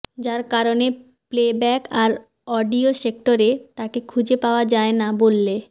যার কারণে প্লেব্যাক আর অডিও সেক্টরে তাকে খুঁজে পাওয়া যায় না বললে